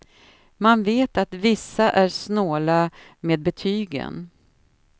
Man vet att vissa är snåla med betygen.